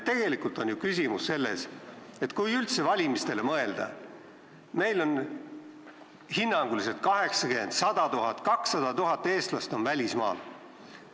Tegelikult on ju küsimus selles, kui üldse valimistele mõelda, et meil on hinnanguliselt 80 000, 100 000, 200 000 eestlast välismaal.